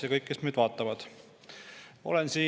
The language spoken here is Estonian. Ja kõik, kes meid vaatavad!